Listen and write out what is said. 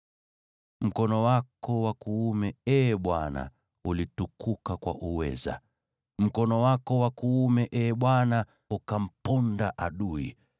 “Mkono wako wa kuume, Ee Bwana ulitukuka kwa uweza. Mkono wako wa kuume, Ee Bwana , ukamponda adui.